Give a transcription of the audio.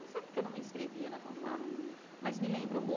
Não sei porque eu não me inscrevia na fanfarra, mas me lembro